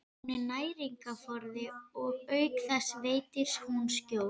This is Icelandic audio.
Hún er næringarforði og auk þess veitir hún skjól.